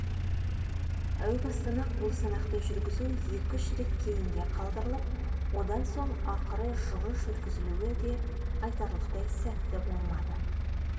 әу бастан-ақ бұл санақты жүргізу екі-үш рет кейінге қалдырылып одан соң ақыры жылы жүргізілуі де айтарлықтай сәтті болмады